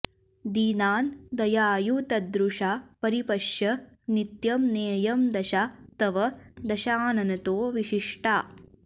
दीनान् दयायुतदृशा परिपश्य नित्यम् नेयं दशा तव दशाननतो विशिष्टा